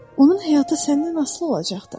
Onun həyatı səndən asılı olacaqdır.